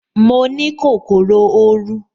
Mo ní kòkòrò oru